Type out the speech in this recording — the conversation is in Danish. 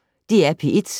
DR P1